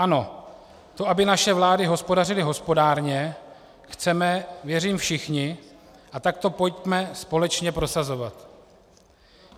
Ano, to, aby naše vlády hospodařily hospodárně, chceme, věřím, všichni, a tak to pojďme společně prosazovat.